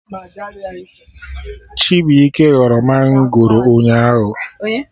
Chibuike ghọrọ mangoro ụnyaahụ